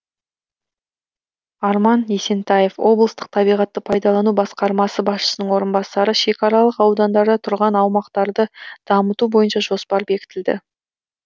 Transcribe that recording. арман есентаев облыстық табиғатты пайдалану басқармасы басшысының орынбасары шекаралық аудандарда тұрған аумақтарды дамыту бойынша жоспар бекітілді